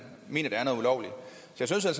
så